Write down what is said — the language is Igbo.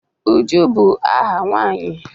Uju bu aha nwanyi